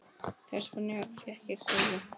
Þess vegna fékk ég koju.